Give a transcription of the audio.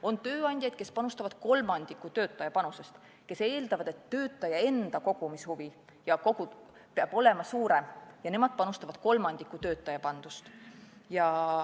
On tööandjaid, kes panustavad kolmandiku töötaja panusest, kes eeldavad, et töötaja enda kogumishuvi peab olema suurem, ja nemad panustavad kolmandiku töötaja pandust.